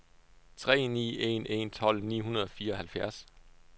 tre ni en en tolv ni hundrede og fireoghalvfjerds